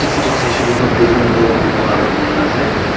photo saishe kuile toh building toh buga color banai na ase.